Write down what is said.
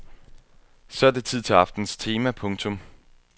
Så er det tid til aftenens tema. punktum